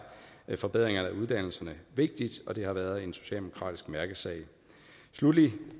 forbedringerne af uddannelserne vigtigt og det har været en socialdemokratisk mærkesag sluttelig vil